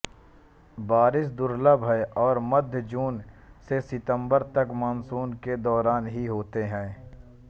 बारिश दुर्लभ हैं और मध्य जून से सितंबर तक मानसून के दौरान ही होते हैं